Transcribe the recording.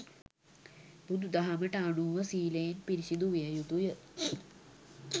බුදු දහමට අනුව සීලයෙන් පිරිසුදු විය යුතු ය.